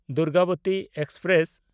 Durgavati express